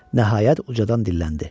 Nəhayət ucadandan dilləndi.